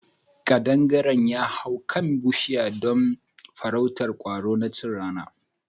Ƙadangaren ya hau kan bushiya don farrautar kwaro na chin rana.